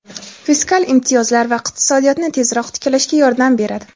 fiskal imtiyozlar esa iqtisodiyotni tezroq tiklashga yordam beradi.